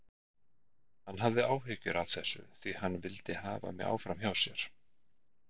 Hann hafði áhyggjur af þessu því hann vildi hafa mig áfram hjá sér.